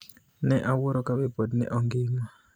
ni e awuoro kabe pod ni e ogima.